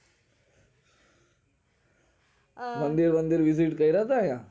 અમ રંગબેરંગી લીબીર કઈરા તા આયા?